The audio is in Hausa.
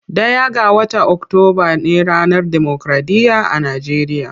Ɗaya ga watan octoba ne ranar democraɗiya a nageriya.